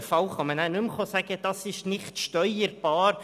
In einem solchen Fall kann man nicht mehr sagen, das sei nicht steuerbar;